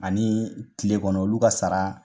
Ani tile kɔnɔ olu ka sara